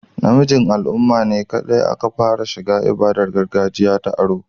Namijin al'umma ne kaɗai aka fara shiga ibadar gargajiya ta oro